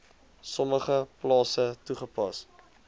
sommige plase toegepas